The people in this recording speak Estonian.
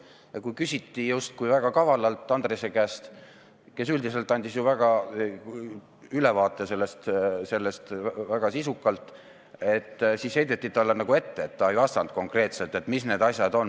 Ennist küsiti justkui väga kavalalt Andrese käest – kes üldiselt andis ju väga sisuka ülevaate – ja heideti talle ette, et ta ei vastanud konkreetselt, mis need asjad on.